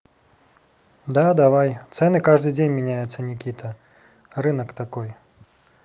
да давай цены каждый день меняются никита рынок такой